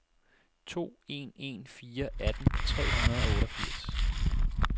to en en fire atten tre hundrede og otteogfirs